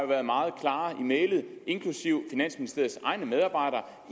været meget klare i mælet inklusive finansministeriets egne medarbejdere